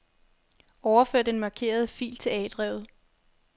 Overfør den markerede fil til A-drevet.